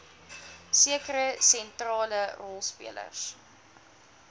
sekere sentrale rolspelers